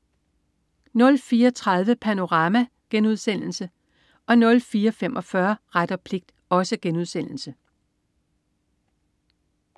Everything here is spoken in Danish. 04.30 Panorama* 04.45 Ret og pligt*